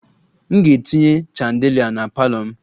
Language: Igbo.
M ga-etinye chandelier na parlour m